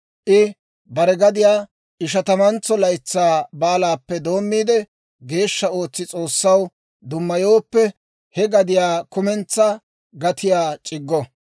I bare gadiyaa Ishatamantso Laytsaa Baalaappe doommiide geeshsha ootsi S'oossaw dummayooppe, he gadiyaw kumentsaa gatiyaa c'iggo.